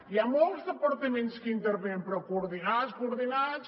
hi ha molts departaments que hi intervenen però coordinats coordinats